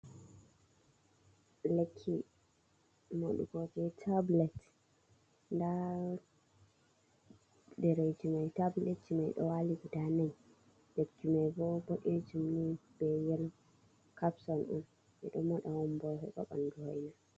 Lekki moɗugo ji tablet, nda ɗereeji mai, tabletji mai ɗo waali guda nai, lekki mai bo boɗejum ni be yelo capson on, ɓe ɗo moɗa on bo heɓa ɓandu hoina.